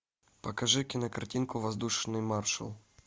покажи кинокартинку воздушный маршал